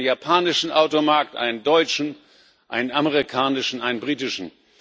Es gibt einen japanischen Automarkt, einen deutschen, einen amerikanischen, einen britischen.